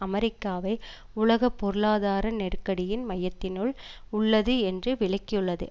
அமெரிக்காவை உலக பொருளாதார நெருக்கடியின் மையத்தினுள் உள்ளது என்று விளக்கியுள்ளது